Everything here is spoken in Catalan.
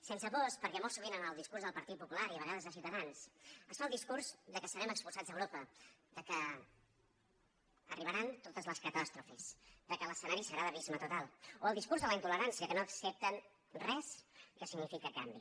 sense pors perquè molt sovint en el discurs del partit popular i a vegades de ciutadans es fa el discurs que serem expulsats d’europa que arribaran totes les catàstrofes que l’escenari serà d’abisme total o el discurs de la intolerància que no accepten res que significa canvi